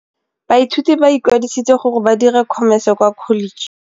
Baithuti ba ikwadisitse gore ba dire Khomese kwa Kholetšheng.